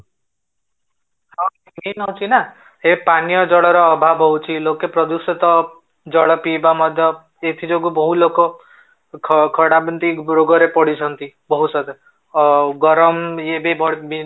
ଅଛି ନା ସେ ପାନୀୟ ଜଳ ର ଅଭାବ ହଉଚି ଲୋକେ ପ୍ରଦୂଷିତ ଜଳ ପିଇବା ମଧ୍ୟ ଏଥି ଯୋଗୁ ବହୁ ଲୋକ ରୋଗ ରେ ପଡିଛନ୍ତି ଅ ଗରମ ଇଏ